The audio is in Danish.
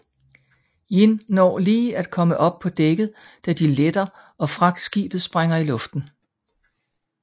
Jin når lige at komme op på dækket da de letter og fragtskibet sprænger i luften